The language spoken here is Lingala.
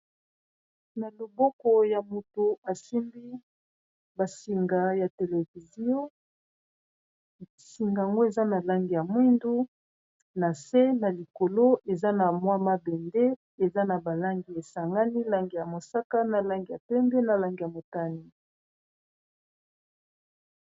Na loboko ya moto asimbi basinga ya televizio basingango eza na langi ya mwindu na se na likolo eza na mwa mabende eza na balangi esangani langi ya mosaka na langi ya pembe na langi ya motane